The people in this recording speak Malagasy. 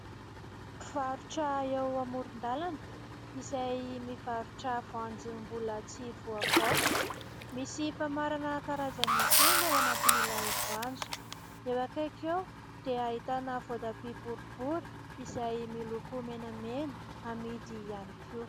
mpivarotra eo amoron-dalana izay mivarotra voanjo mbola tsy voavaofy misy famarana karazany telo ao anatin'ilay voanjo eo akaiky eo dia ahitana voatabia boribory izay miloko menamena amidy ihany koa